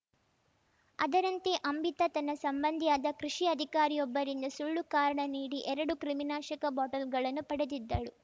ಅದರಂತೆ ಅಂಬಿತಾ ತನ್ನ ಸಂಬಂಧಿಯಾದ ಕೃಷಿ ಅಧಿಕಾರಿಯೊಬ್ಬರಿಂದ ಸುಳ್ಳು ಕಾರಣ ನೀಡಿ ಎರಡು ಕ್ರಿಮಿನಾಶಕ ಬಾಟಲ್‌ಗಳನ್ನು ಪಡೆದಿದ್ದಳು